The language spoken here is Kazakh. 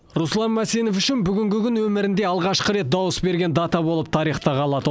руслан мәсенов үшін бүгінгі күн өмірінде алғашқы рет дауыс берген дата болып тарихта қалады